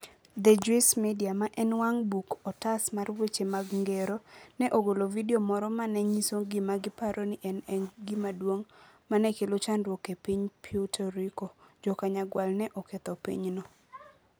The Juice Media, ma en wang book otas mar weche mag ngero, ne ogolo vidio moro ma ne nyiso gima giparo ni ne en gima duong ' ma ne kelo chandruok ne piny Puerto Rico: Jo - Kanyagwal ne oketho pinyno.